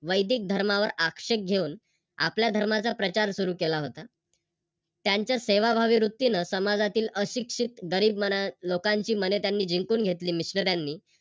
वैदीक धर्मावर आक्षेप घेऊन आपल्या धर्माचा प्रचार सुरू केला होता. त्यांच्या सेवाभावी वृत्तीने समाजातील अशिक्षित, गरीब लोकांची मने त्यांनी जिंकून घेतली